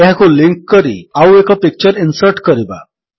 ଏହାକୁ ଲିଙ୍କ୍ କରି ଆଉଏକ ପିକଚର୍ ଇନ୍ସର୍ଟ କରିବା